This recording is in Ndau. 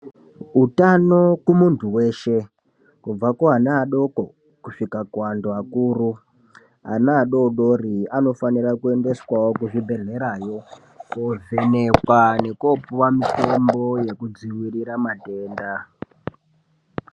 Utano kumuntu weshe kubva kuvana vadoko kusvika kuvanhu vakuru ana adodori anofana kuendeswawo kuzvibhedhlerayo kovhenekwa nekopuwa mitombo yekudzivirira matenda.